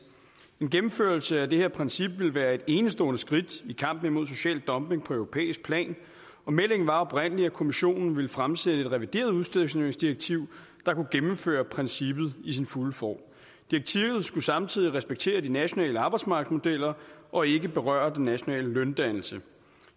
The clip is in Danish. en gennemførelse af det her princip ville være et enestående skridt i kampen imod social dumping på europæisk plan og meldingen var oprindelig at kommissionen ville fremsætte et revideret udstationeringsdirektiv der kunne gennemføre princippet i sin fulde form direktivet skulle samtidig respektere de nationale arbejdsmarkedsmodeller og ikke berøre den nationale løndannelse